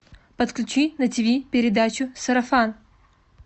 подключи на тв передачу сарафан